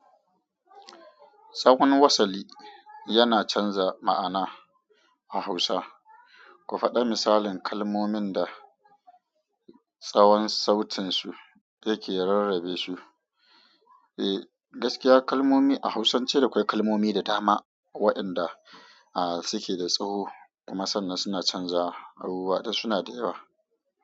Tsawon wasali yana canza ma'ana a Hausa. Ku faɗa misalin kalmomin da tsawon sautin su yake rarrabe su. Eh, gaskiya kalmomi a Hausance da akwai kalmomi da dama waɗanda suke da tsawo kuma sannan suna canjawa gaskiya sunada yawa.